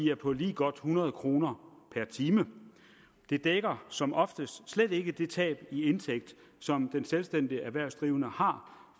er på lige godt hundrede kroner per time det dækker som oftest slet ikke det tab i indtægt som den selvstændigt erhvervsdrivende har